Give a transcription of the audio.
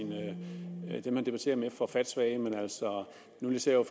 jeg dem han debatterer med for fattesvage men nu ser jeg